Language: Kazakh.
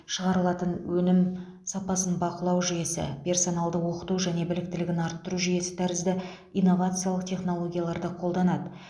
шығарылатын өнім сапасын бақылау жүйесі персоналды оқыту және біліктілігін арттыру жүйесі тәрізді инновациялық технологияларды қолданады